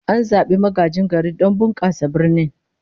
An zabi magajin garin don bunkasa birnin